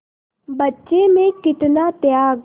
बच्चे में कितना त्याग